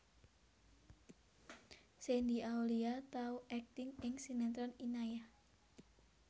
Shandy Aulia tau akting ing sinetron Inayah